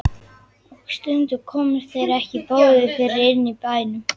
Og stundum komust þeir ekki báðir fyrir inni í bænum.